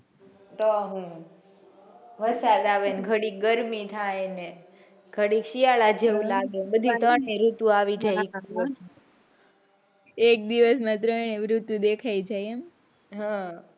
વરસાદ આવેને ગળિક ગરમી થયા ને ગળિક શિયાળા જેવું કે લાગે બધી ત્રણેય ઋતુ આવી જાય એક દિવસ માં ત્રણેય ઋતુ દેખાય જાય એમ,